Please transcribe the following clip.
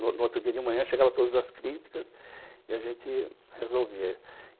No no outro dia de manhã, chegavam todas as críticas e a gente resolvia.